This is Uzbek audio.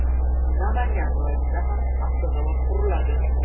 Namangan viloyatida ham avtozavod quriladi.